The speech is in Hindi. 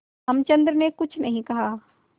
रामचंद्र ने कुछ नहीं कहा